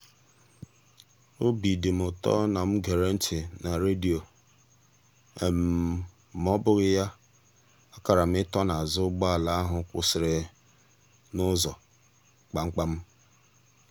obi dị mụ ụtọ na mụ gere ntị na redio maọbụghị ya a kara m ị tọ n'azụ ụgbọala ahụ kwụsịrị n'ụzọ kpamkpam.